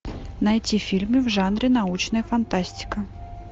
найти фильмы в жанре научная фантастика